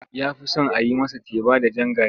Ya fi son a yi masa teba da jan gari.